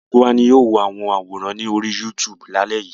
Gbogbo wa ni a ó wo àwọn àwòrán lórí YouTube lálẹ́ yìí.